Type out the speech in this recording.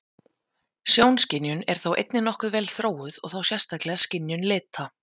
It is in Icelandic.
Sjónskynjun er þó einnig nokkuð vel þróuð og þá sérstaklega skynjun lita.